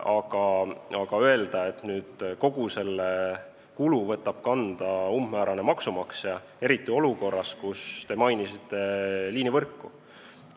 Aga ei saa öelda, et nüüd kogu selle kulu võtab enda kanda umbmäärane maksumaksja, eriti olukorras, kus te mainisite liinivõrku.